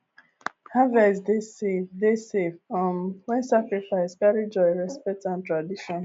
harvest dey safe dey safe um when sacrifice carry joy respect and tradition